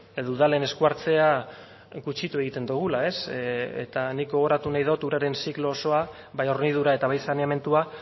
edo udalen esku hartzea gutxitu egiten dugula eta nik gogoratu nahi dut uraren ziklo osoa bai hornidura eta bai saneamendua